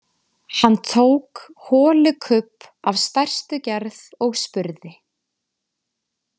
Hann tók holukubb af stærstu gerð og spurði: